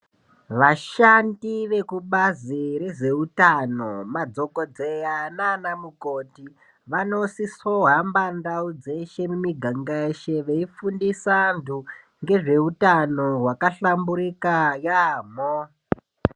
Vashandi vekubazi rezveutano, madhokodheya naanamukoti, vanosisohamba ndau dzeshe mumiganga yeshe, veifundisa antu ngezveutano hwakahlamburika yaamho.